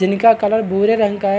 जिनका कलर भूरे रंग का है।